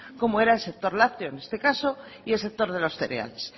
como era el sector lácteo en este caso y el sector de los cereales